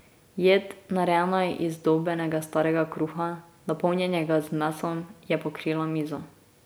Jed, narejena iz izdolbenega starega kruha, napolnjenega z mesom, je pokrila mizo.